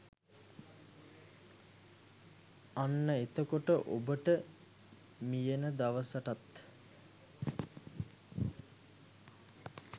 අන්න එතකොට ඔබට මියෙන දවසටත්